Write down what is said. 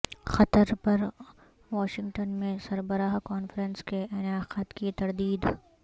قطر پر واشنگٹن میں سربراہ کانفرنس کے انعقاد کی تردید